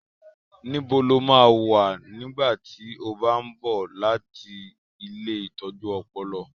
Níbo lo máa wà nígbà tí ó bá ń bọ̀ láti ilée ìtọ́jú ọpọlọ?